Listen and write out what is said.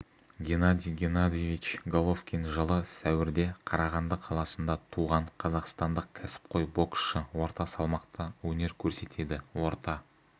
геннадий геннадьевич головкин жылы сәуірде қарағанды қаласында туған қазақстандық кәсіпқой боксшы орта салмақта өнер көрсетеді орта